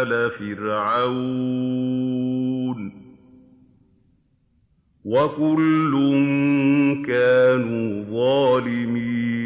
آلَ فِرْعَوْنَ ۚ وَكُلٌّ كَانُوا ظَالِمِينَ